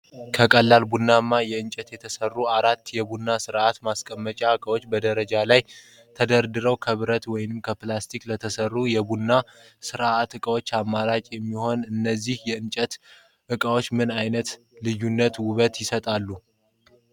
ከቀላል ቡናማ እንጨት የተሰሩ አራት የቡና ስርአት ማስቀመጫ እቃዎች በደረጃ ላይ ተደርድረዋል። ከብረት ወይም ከፕላስቲክ ለተሰሩ የቡና ስርአት ዕቃዎች አማራጭ የሚሆኑት እነዚህ የእንጨት እቃዎች ምን አይነት ልዩ ውበት ይሰጣሉ?